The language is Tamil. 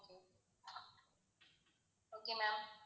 okay ma'am